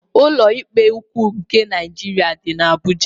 Ụlọikpe ukwu nke Naịjirịa dị n'Abuja.